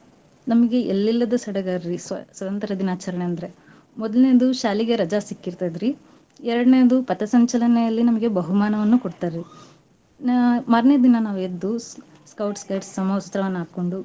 ನಮ್ಗೆ ಎಲ್ಲಿಲ್ಲದ ಸಡಗರ್ರೀ ಸ್ವ~ ಸ್ವತಂತ್ರ್ಯ ದಿನಾಚರಣೆ ಅಂದ್ರ. ಮೋದಲ್ನೇದು ಶಾಲಿಗ ರಜಾ ಸಿಕ್ಕಿರ್ತದ್ರಿ ಎರ್ಡನೇದ್ದು ಪಥಸಂಚಲನೆಯಲ್ಲಿ ನಮ್ಗೆ ಬಹುಮಾನವನ್ನು ಕೊಡ್ತಾರೀ. ನಾ~ ಮಾರ್ನೆ ದಿನಾ ನಾವ್ ಎದ್ದು ಸ್~ Scout Guides ಸಮವಸ್ತ್ರವನ್ನ ಹಕ್ಕೊಂಡು.